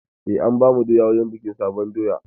Eh, an bamu doya wurin bikin sabuwar doya.